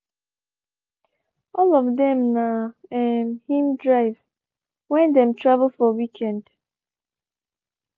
all of them na um him drive when dem travel for weekend.